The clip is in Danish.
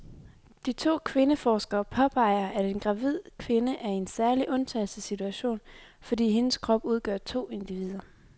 De to kvindeforskere påpeger, at en gravid kvinde er i en særlig undtagelsessituation, fordi hendes krop udgør to individer.